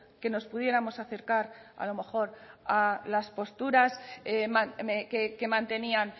que nos pudiéramos acercar a lo mejor a las posturas que mantenían